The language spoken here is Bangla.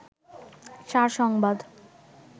সার সংবাদ